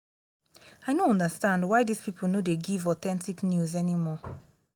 i no understand why dis people no dey give authentic news anymore